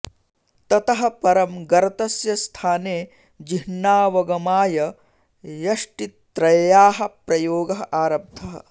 ततः परं गर्तस्य स्थाने चिह्नावगमाय यष्टित्रय्याः प्रयोगः आरब्धः